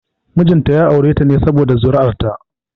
Mijin ta ya aure ta ne saboda zuri'ar ta